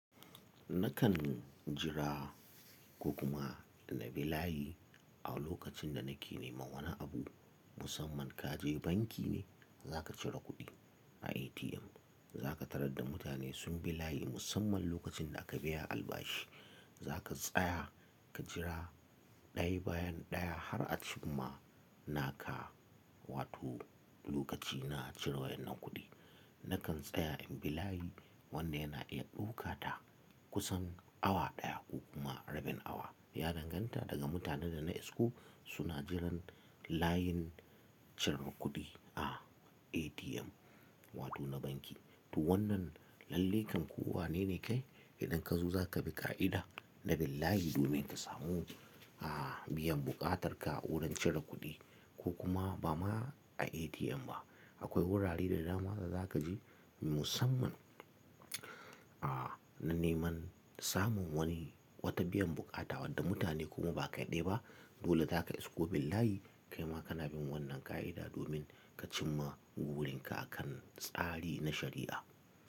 Nakan jira ko kuma na bi layi a lokacin da nake neman wani abu. Musamman kaje banki ne za ka cire kuɗi a ATM. Za ka tarar da mutane sun bi layi musamman lokacin da aka biya albashi. Za ka tsaya ka jira ɗaya bayan ɗaya har a cim ma naka wato lokaci na cire wannan kuɗi. Nakan tsaya in bi layi wanda yana iya ɗaukata kusan awa ɗaya ko kuma rabin awa. Ya danganta daga mutanen da na isko suna jiran layin cirar kuɗi a ATM wato na banki. To wannan lallaikan ko wane ne kai idan ka zo za ka bi ƙa'ida na billayi domin ka samu, a, biyan buƙatarka a wurin cire kuɗi ko kuma ba ma a ATM ba. Akwai wurare da dama da za ka je musamman, a, na neman samun wani wata biyan buƙata wadda mutane kuma ba kaɗai ɗayaba dole za ka isko billayi kaima kana bin wannan ƙa'ida domin ka cimma burinka akan tsari na shari'a.